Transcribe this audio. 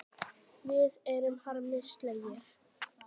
Við erum harmi slegin.